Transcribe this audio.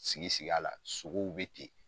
Sigi sigi la sogow bɛ ten